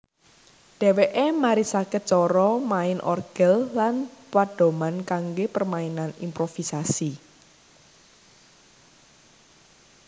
Dheweke marisake cara main orgel lan pedoman kangge permainan improvisasi